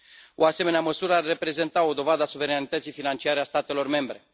O asemenea măsură ar reprezenta o dovadă a suveranității financiare a statelor membre.